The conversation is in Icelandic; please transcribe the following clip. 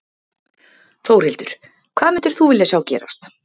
Þórhildur: Hvað myndir þú vilja sjá gerast?